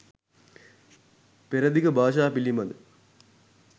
පෙරදිග භාෂා පිළිබඳ